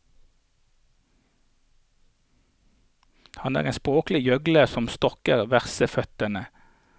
Han er en språklig gjøgler som stokker verseføttene.